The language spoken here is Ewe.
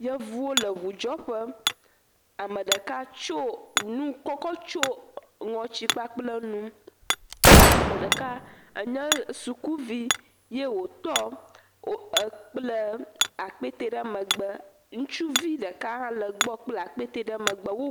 Yevuwo le ʋudzɔƒe ame ɖeka tsɔ nu tsyɔ ŋɔti kpakple nu ame ɖeka nye sukuvi ye wòtɔ kpla akpɛtɛ ɖe megbe ŋutsuvi ɖeka ha le gbɔ kpla akpɛtɛ ɖe megbe